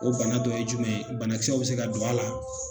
O bana dɔ ye jumɛn, banakisɛw be se ka don a la.